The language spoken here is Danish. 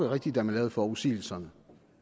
rigtige da man lavede forudsigelserne